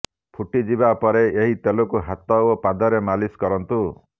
ଫୁଟିଯିବା ପରେ ଏହି ତେଲକୁ ହାତ ଓ ପାଦରେ ମାଲିସ କରନ୍ତୁ